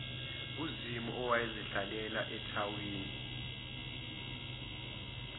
uzimu owayezihlalela ethawini